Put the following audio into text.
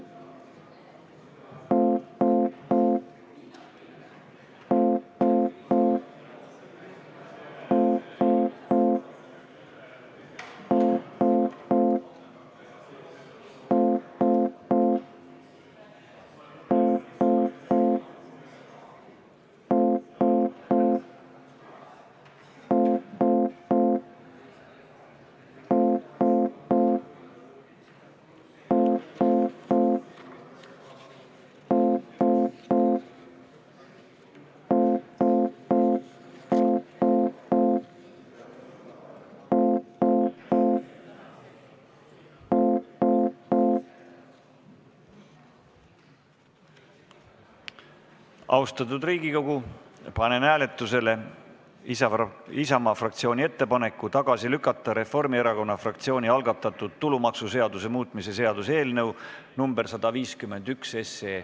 Austatud Riigikogu, panen hääletusele Isamaa fraktsiooni ettepaneku tagasi lükata Reformierakonna fraktsiooni algatatud tulumaksuseaduse muutmise seaduse eelnõu nr 151.